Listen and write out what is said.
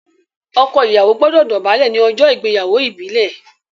ọkọ Ìyàwó gbódò dobale ní ojó ìgbéyàwó ìbílè.